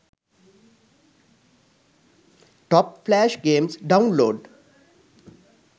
top flash games download